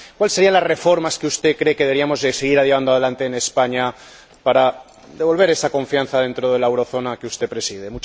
¿Cuáles serían las reformas que usted cree que deberíamos seguir llevando adelante en España para devolver esa confianza dentro de la eurozona que usted preside?